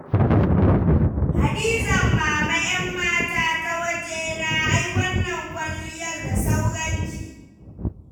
Hadizan Mama ƴammata ta wajena ai wannan kwalliyar da sauranki.